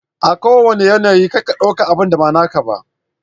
A kowanna yanayi kar ka ɗau abunda ba naka ba.